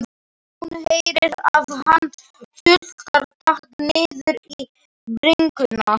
Hún heyrir að hann tuldrar takk niður í bringuna.